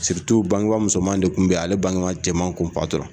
bangeba musoman de kun bɛ ale bangeba cɛman kun patura.